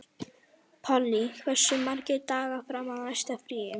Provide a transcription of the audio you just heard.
Polly, hversu margir dagar fram að næsta fríi?